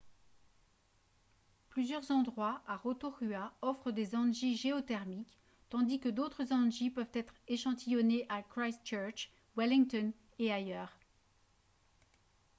plusieurs endroits à rotorua offrent des hangis géothermiques tandis que d'autres hangis peuvent être échantillonnés à christchurch wellington et ailleurs